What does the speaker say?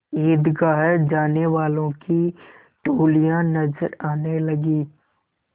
ईदगाह जाने वालों की टोलियाँ नजर आने लगीं